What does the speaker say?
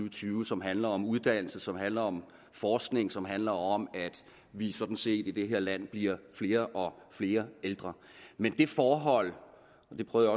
og tyve som handler om uddannelse som handler om forskning og som handler om at vi sådan set i det her land bliver flere og flere ældre men det forhold og det prøvede